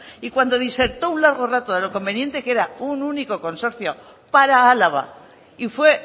y cuando disertó un largo rato de lo conveniente que era un único consorcio para álava y fue